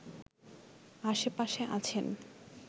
আশেপাশে আছেন